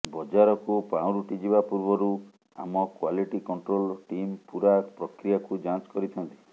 ବଜାରକୁ ପାଉଁରୁଟି ଯିବା ପୂର୍ବରୁ ଆମ କ୍ୱାଲିଟି କଣ୍ଟୋଲ ଟିମ୍ ପୂରା ପ୍ରକ୍ରିୟାକୁ ଯାଞ୍ଚ କରିଥାନ୍ତି